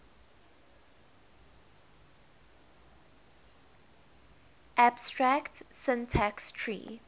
abstract syntax tree